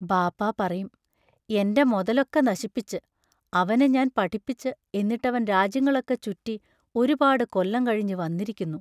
ബാപ്പാ പറയും: എൻറ മൊതലൊക്കെ നശിപ്പിച്ച് അവനെ ഞാൻ പഠിപ്പിച്ച് എന്നിട്ടവൻ രാജ്യങ്ങളൊക്കെ ചുറ്റി ഒരുപാടു കൊല്ലം കഴിഞ്ഞു വന്നിരിക്കുന്നു.